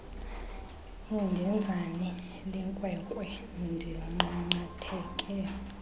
indenzani lenkwenkwe ndinqanqatheke